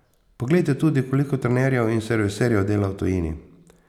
Poglejte tudi, koliko trenerjev in serviserjev dela v tujini.